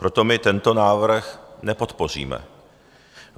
Proto my tento návrh nepodpoříme.